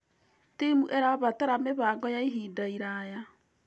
Timu ĩrabatara mĩbango ya ihinda iraya.